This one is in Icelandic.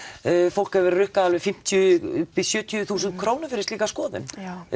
fólk hefur verið rukkað alveg fimmtíu til sjötíu þúsund krónur fyrir slíka skoðun